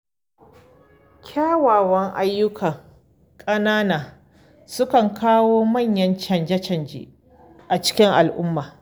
Kyawawan ayyuka ƙanana sukan kawo manyan canje-canje a cikin al’umma.